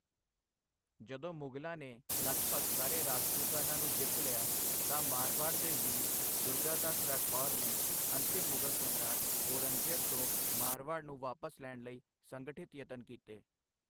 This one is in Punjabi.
ਜਦੋਂ ਮੁਗ਼ਲਾਂ ਨੇ ਲਗਭਗ ਸਾਰੇ ਰਾਜਪੂਤਾਨਾ ਨੂੰ ਜਿੱਤ ਲਿਆ ਤਾ, ਮਾਰਵਾੜ ਦੇ ਵੀਰ ਦੁਰਗਾਦਾਸ ਰਾਠੌਰ ਨੇ ਅੰਤਿਮ ਮੁਗਲ ਸਮਰਾਟ ਔਰੰਗਜ਼ੇਬ ਤੋਂ ਮਾਰਵਾੜ ਨੂੰ ਵਾਪਸ ਲੈਣ ਲਈ ਸੰਗਠਿਤ ਯਤਨ ਕੀਤੇ।